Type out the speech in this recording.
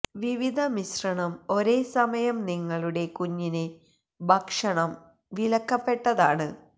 വിവിധ മിശ്രണം ഒരേ സമയം നിങ്ങളുടെ കുഞ്ഞിനെ ഭക്ഷണം വിലക്കപ്പെട്ടതാണ്